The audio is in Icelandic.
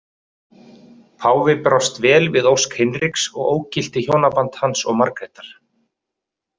Páfi brást vel við ósk Hinriks og ógilti hjónaband hans og Margrétar.